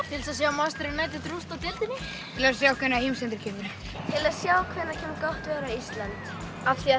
til þess að sjá Manchester United rústa deildinni til að sjá hvenær heimsendir kemur til að sjá hvenær kemur gott veður á Íslandi af því að